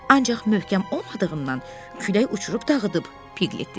Ancaq möhkəm olmadığından külək uçurub dağıdıb, Piklit dedi.